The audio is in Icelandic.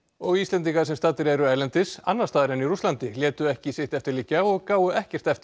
og Íslendingar sem staddir eru erlendis annars staðar en í Rússlandi létu ekki sitt eftir liggja og gáfu ekkert eftir